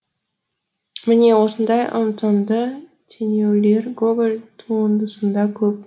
міне осындай ұтымды теңеулер гоголь туындысында көп